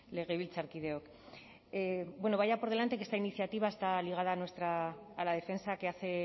legebiltzarkideok bueno vaya por delante que esta iniciativa está ligada a la defensa que hace